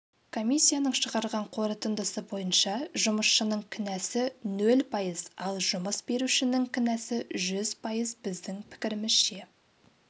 комиссияның шығарған қорытындысы бойынша жұмысшының кінәсі нөл пайыз ал жұмыс берушінің кінәсі жүз пайыз біздің пікірімізше